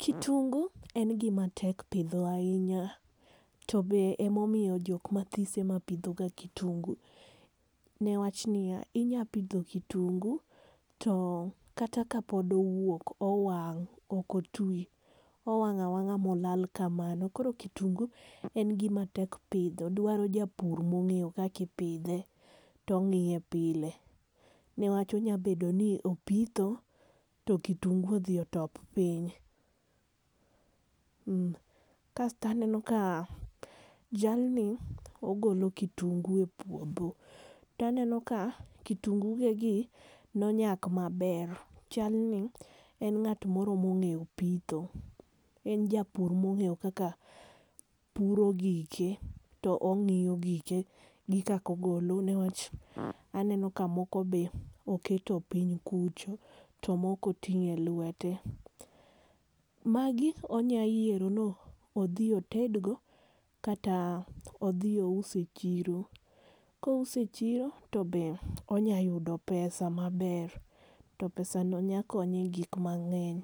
Kitungu en gima tek pidho ahinya to emomiyo jok mathis ema pidhoga kitungu newach niya inyalo pidho kitungu to kata kapod owuok owang', ok otwi owang' awang'a mola kamano . Koro kitungu en gima tek pidho dwaro japur mong'eyo kaka ipidhe to ong'iye pile newach onyalo bedo ni opitho to kitungu odhi otop piny. Kas to aneno ka jalni ogolo kitungu e puodho to aneno ka kitungu gegi ne onyak maber. Chalni en ng'at moro mong'eyo pitho. En ja pur mong'eyo kaka puro gike to ong'iyo gike gi kaka ogolo newach aneno ka moko be oketo piny kucho to moko oting'o elwete. Magi onyalo yiero ni odhi otedgo kata odhi ous e chiro. Kouso e chiro to ber, onyalo yudo pesa maber to pesano nyalo konye egik mang'eny.